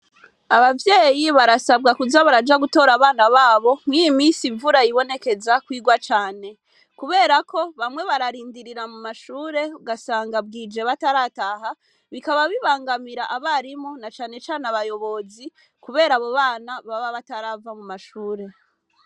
Abavyeyi barasabwa kuza baraja gutora abana babo mw'imisi imvura yibonekeza kwirwa cane, kubera ko bamwe bararindirira mu mashure ugasanga bwije batarataha bikaba bibangamira abarimu na canecane abayobozi, kubera abo bana baba batarava mu mashure.